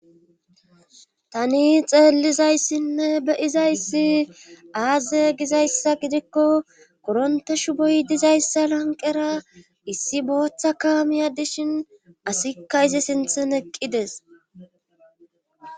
tani xeellizayssinne beyizayssi aaze gizayssa gidikko koronteshu boy dizayssa lanqera issi booththa kaamiya dishin asikka izi sinthen eqqides